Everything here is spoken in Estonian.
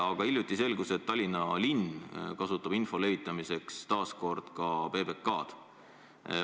Aga hiljuti selgus, et Tallinna linn kasutab info levitamiseks taas ka PBK-d.